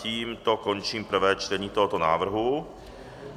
Tímto končím prvé čtení tohoto návrhu.